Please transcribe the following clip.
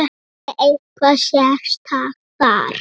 Lillý: Er eitthvað sérstakt þar?